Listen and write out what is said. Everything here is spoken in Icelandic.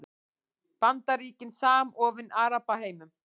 Bandaríkin samofin Arabaheiminum